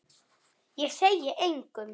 Ég segi engum.